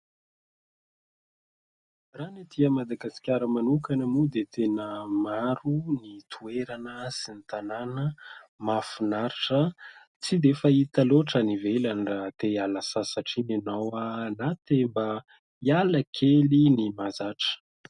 Raha ny etỳ Madagasikara manokana moa dia tena maro ny toerana sy ny tanàna mahafinaritra tsy dia fahita loatra any ivelany : raha te hiala sasatra iny ianao, na te mba hiala kely ny mahazatra.